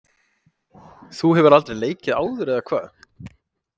Þú hefur aldrei leikið áður eða hvað?